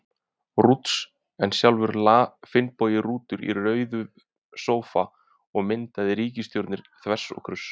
Rúts, en sjálfur lá Finnbogi Rútur í rauðum sófa og myndaði ríkisstjórnir þvers og kruss.